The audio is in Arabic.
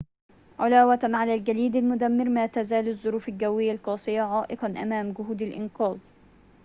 علاوةً على الجليد المدمر ما تزال الظروف الجوية القاسية عائقاً أمام جهود الإنقاذ